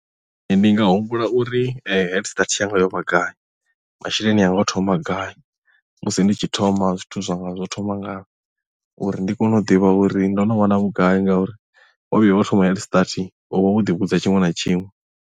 Ee ndi nga humbula uri head start yanga yo vha gai masheleni anga o thoma gai musi nditshi thoma zwithu zwa nga zwo thoma ngayo uri ndi kone u ḓivha uri ndo no wana vhugai ngauri wa vhuya wa thoma head start u vha wo ḓi vhudza tshiṅwe na tshiṅwe.